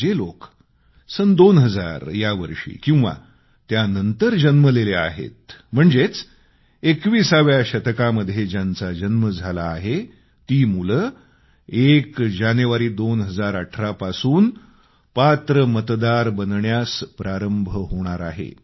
जे लोक सन 2000 या वर्षी किंवा त्यानंतर जन्मलेले आहेत म्हणजेच 21व्या शतकामध्ये ज्यांचा जन्म झाला आहे ती मुले एक जानेवारी 2018 पासून पात्र मतदार बनण्यास प्रारंभ होणार आहे